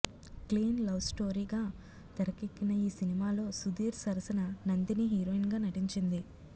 clean లవ్స్టోరీగా తెరకెక్కిన ఈ సినిమాలో సుధీర్ సరసన నందిని హీరోయిన్గా నటించింది